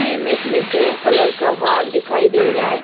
Image में grey colour का wall दिखाई दे रहा है।